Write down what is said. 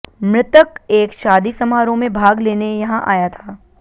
मृतक एक शादी समारोह में भाग लेने यहां आया था